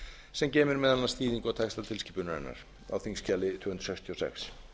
sem gefur skýringu á texta tilskipunarinnar á þingskjali tvö hundruð sextíu og sex